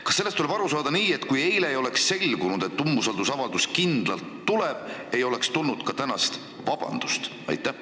Kas sellest tuleb aru saada nii, et kui eile ei oleks selgunud, et umbusaldusavaldus kindlalt tuleb, siis ei oleks tulnud ka tänast vabandust?